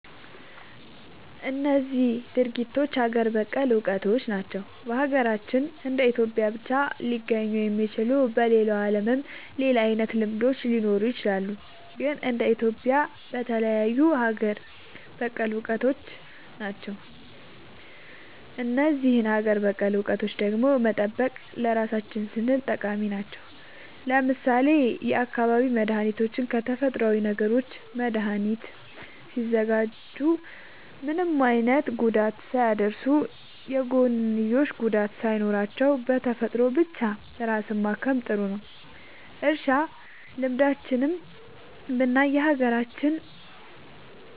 እነዚህ ድርጊቶች ሀገር በቀል እውቀቶች ናቸው። በሀገራችን እንደ ኢትዮጵያ ብቻ ሊገኙ የሚችሉ። በሌላው ዓለምም ሌላ አይነት ልምዶች ሊኖሩ ይችላሉ። ግን እንደ ኢትዮጵያ የተለዩ ሀገር በቀል እውቀቶች ናቸው። እነዚህን ሀገር በቀል እውቀቶች ደግሞ መጠበቅ ለራሳችን ስንል ጠቃሚ ናቸው። ለምሳሌ የአካባቢ መድኃኒቶችን ከተፈጥሮዊ ነገሮች መድኃኒት ሲያዘጋጁ ምንም አይነት ጉዳት ሳያደርሱ፣ የጎንዮሽ ጉዳት ሳይኖራቸው፣ በተፈጥሮ ብቻ ራስን ማከም ጥሩ ነዉ። እርሻ ልምዶችንም ብናይ የሀገራችን